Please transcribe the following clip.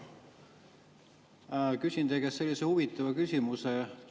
Küsin käest sellise huvitava küsimuse.